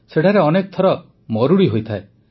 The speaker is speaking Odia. ସେଠାରେ ଅନେକ ଥର ମରୁଡ଼ି ହୋଇଥାଏ